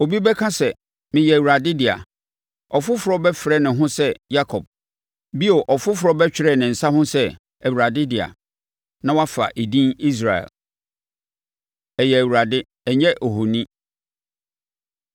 Obi bɛka sɛ, ‘Meyɛ Awurade dea’; ɔfoforɔ bɛfrɛ ne ho sɛ Yakob; bio ɔfoforɔ bɛtwerɛ ne nsa ho sɛ, ‘ Awurade dea,’ na wafa edin Israel. Ɛyɛ Awurade, Ɛnyɛ Ahoni